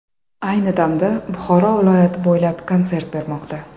Ayni damda Buxoro viloyati bo‘ylab konsert bermoqda.